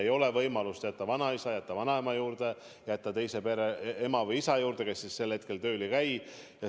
Ei ole võimalust jätta neid vanaisa ja vanaema juurde, jätta neid teise pere ema või isa juurde, kes parajasti tööl ei käi.